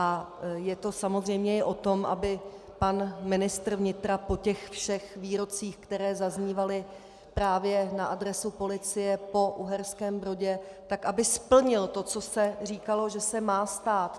A je to samozřejmě i o tom, aby pan ministr vnitra po těch všech výrocích, které zaznívaly právě na adresu policie po Uherském Brodě, tak aby splnil to, co se říkalo, že se má stát.